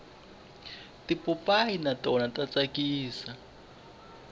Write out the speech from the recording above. tipopayi na tona ta tsakisa